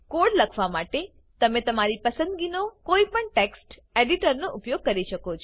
code લખવા માટે તને તમારી પસંદગી નો કોઈ પણ ટેક્સ્ટ એડિટર નો ઉપયોગ કરી શકો છો